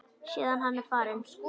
Síðan var hann farinn.